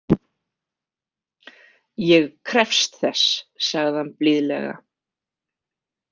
Ég krefst þess, sagði hann blíðlega.